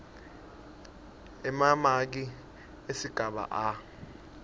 emamaki esigaba a